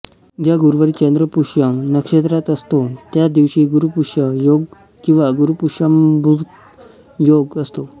ज्या गुरुवारी चंद्र पुष्य नक्षत्रात असतो त्या दिवशी गुरुपुष्य योग किंवा गुरुपुष्यामृत योग असतो